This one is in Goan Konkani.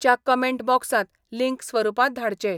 च्या कमेंट बॉक्सांत लिंक स्वरुपांत धाडचे.